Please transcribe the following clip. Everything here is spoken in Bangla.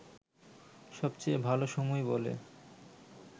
সবচেয়ে ভাল সময় বলে